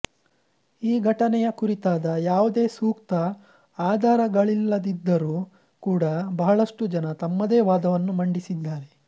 ಈ ಘಟನೆಯ ಕುರಿತಾದ ಯಾವುದೇ ಸೂಕ್ತ ಆಧಾರಗಳಿಲ್ಲದಿದ್ದರೂ ಕೂಡ ಬಹಳಷ್ಟು ಜನ ತಮ್ಮದೇ ವಾದವನ್ನು ಮಂಡಿಸಿದ್ದಾರೆ